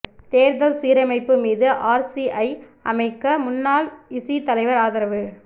தேர்தல் சீரமைப்பு மீது ஆர்சிஐ அமைக்க முன்னாள் இசி தலைவர் ஆதரவு